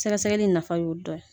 Sɛgɛsɛgɛli in nafa y'o dɔ ye